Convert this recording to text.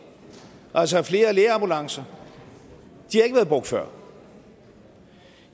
altså flere lægeambulancer de har ikke været brugt før